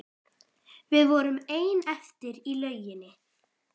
Við vorum ein eftir í lauginni.